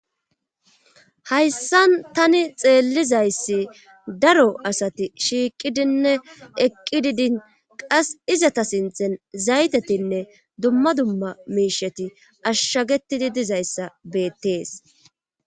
Hayssan tani xeellizayssi daro asati shiiqidinne eqqi didin qas izata sinthen zaytetinne dumma dumma miisheti ashshagetidi dizayssa beettees.